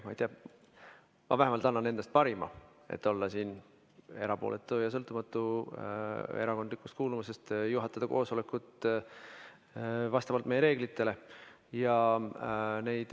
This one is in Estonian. Ma vähemalt annan endast parima, et olla erapooletu ja erakondlikust kuuluvusest sõltumatu ning juhatada koosolekut vastavalt meie reeglitele.